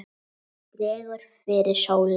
Dregur fyrir sólu